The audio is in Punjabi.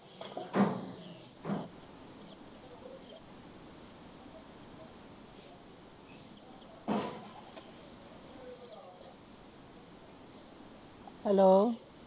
ਹੈਲੋ